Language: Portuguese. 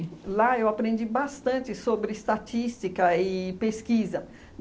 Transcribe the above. Lá eu aprendi bastante sobre estatística e pesquisa.